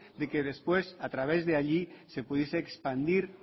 de que después a través de allí se pudiese expandir